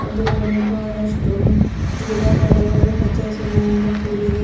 ಎದ್ರುಗಡೆ ಬಹಳಷ್ಟು ಗಿಡ ಮರಗಳು ಹಚ್ಚ ಹಸುರಿನಿಂದ ಕೂಡಿದೆ.